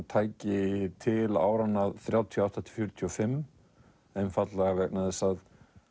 tæki til áranna þrjátíu og átta til fjörutíu og fimm einfaldlega vegna þess að